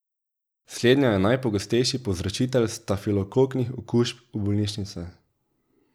Slednja je najpogostejši povzročitelj stafilokoknih okužb v bolnišnicah.